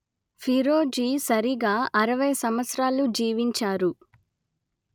ఫీరోజి సరిగా అరవై సంవత్సరాలు జీవించారు